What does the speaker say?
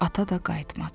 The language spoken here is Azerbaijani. Ata da qayıtmadı.